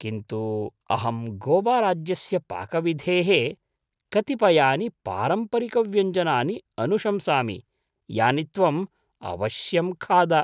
किन्तु अहं गोवाराज्यस्य पाकविधेः कतिपयानि पारम्परिकव्यञ्जनानि अनुशंसामि, यानि त्वम् अवश्यं खाद।